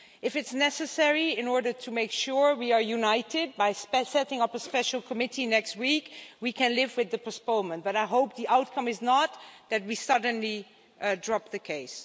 If it is necessary, in order to make sure we are united by setting up a special committee next week, we can live with the postponement. But I hope the outcome is not that we suddenly drop the case.